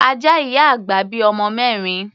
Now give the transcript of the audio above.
Ajá ìyá àgbà bí ọmọ mẹ́rin.